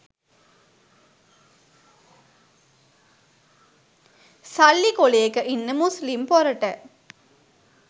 සල්ලි කොලේක ඉන්න මුස්ලිම් පොරට